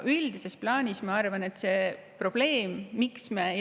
Miks me ei ole sellega tegelenud?